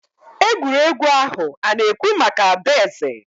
egwuregwu ahụ ana-ekwu maka adaeze